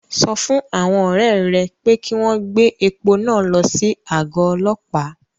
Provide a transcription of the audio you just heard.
Sọ fún àwọn ọ̀rẹ́ ẹ pé kí wọ́n gbé epo náà lọ sí àgọ́ ọlọ́pàá